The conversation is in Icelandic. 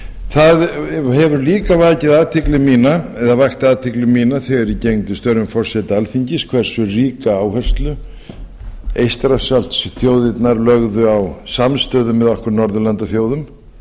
það hefur líka vakið athygli mína eða vakti athygli mína þegar ég gegndi störfum forseta alþingis hversu ríka áherslu eystrasaltsþjóðirnar lögðu á samstöðu með okkur norðurlandaþjóðum